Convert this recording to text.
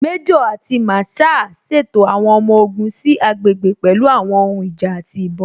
Méjò àti Masaa ṣètò àwọn ọmọ ogun sí àgbègbè pẹ̀lú àwọn ohun ìjà àti ìbọn.